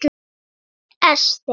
Þín Ester.